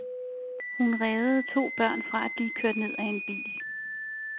Hun reddede to børn fra at blive kørt ned af en bil.